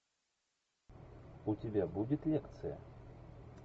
у тебя будет лекция